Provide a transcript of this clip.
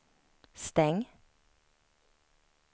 stäng